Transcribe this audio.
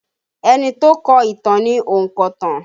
Ẹni tó kọ ìtàn ni ònkọ̀tan